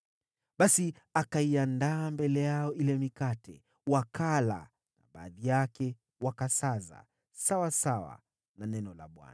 Basi akaiandaa mbele yao ile mikate, wakala na baadhi yake wakasaza, sawasawa na neno la Bwana .